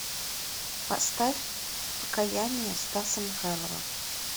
поставь покаяние стаса михайлова